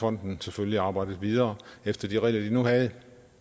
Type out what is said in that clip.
fonden selvfølgelig arbejdet videre efter de regler den nu havde